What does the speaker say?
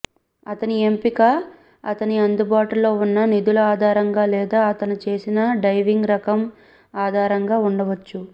అతని ఎంపిక అతని అందుబాటులో ఉన్న నిధుల ఆధారంగా లేదా అతను చేసిన డైవింగ్ రకం ఆధారంగా ఉండవచ్చు